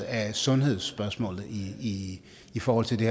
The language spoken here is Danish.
af sundhedsspørgsmålet i i forhold til det